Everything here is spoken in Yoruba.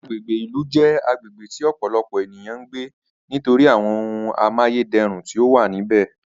Agbègbè ìlú jé agbègbè tí ò̩pò̩lo̩pò̩ ènìyàn ń gbé nítorí àwo̩n ohun amáyéde̩rùn tí ó wà níbè̩